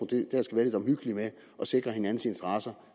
der skal være lidt omhyggelige med at sikre hinandens interesser